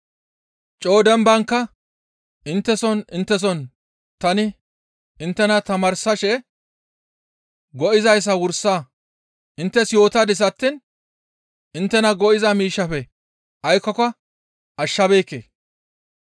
Coo dembankka, intteson intteson tani inttena tamaarsashe go7izayssa wursa inttes yootadis attiin inttena go7iza miishshaafe aykkoka ashshabeekke.